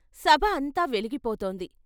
సభ అంతా వెలిగిపోతోంది.